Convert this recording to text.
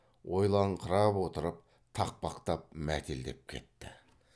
ойланыңқырап отырып тақпақтап мәтелдеп кетті